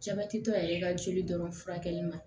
Jabɛti tɔ yɛrɛ ka jeli dɔrɔn furakɛli ma